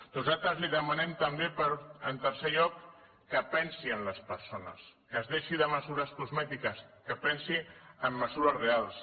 nosaltres li demanem també en tercer lloc que pensi en les persones que es deixi de mesures cosmètiques que pensi en mesures reals